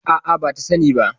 A'a, bata sani ba.